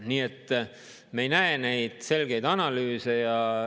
Nii et me ei näe selgeid analüüse.